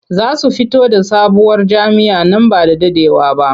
Za su fito da sabuwar jam'iyya nan ba da daɗewa ba.